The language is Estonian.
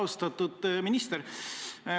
Austatud minister!